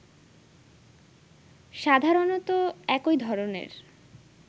সাধারণতঃ একই ধরনের